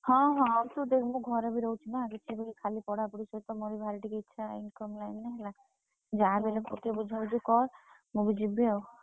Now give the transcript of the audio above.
ହଁ ହଁ ତୁ ଦେଖେ ମୁଁ ଘରେ ବି ରହୁଛି ନା ଯାହାବି ହେଲେ ତୁ ଟିକେ ବୁଝାବୁଝି କର। ମୁଁ ବି ଯିବି ଆଉ।